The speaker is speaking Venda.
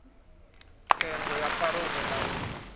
tsengo ya parole na u